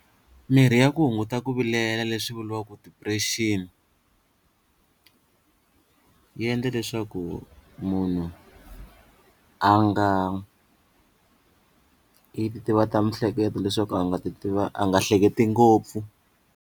Mirhi ya ku hunguta ku vilela leswi vuriwaka depression yi endla leswaku munhu a nga yi titivata mihleketo leswaku a nga ti a nga hleketi ngopfu.